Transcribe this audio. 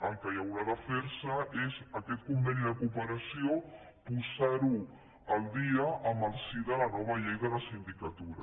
el que haurà de ferse és aquest conveni de cooperació posarlo al dia en el si de la nova llei de la sindicatura